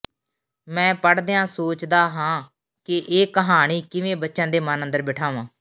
ਮੈਂ ਪੜ੍ਹਦਿਆਂ ਸੋਚਦਾ ਹਾਂ ਕਿ ਇਹ ਕਹਾਣੀ ਕਿਵੇਂ ਬੱਚਿਆਂ ਦੇ ਮਨ ਅੰਦਰ ਬਿਠਾਂਵਾਂ